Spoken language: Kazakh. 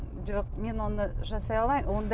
жоқ мен оны жасай алмаймын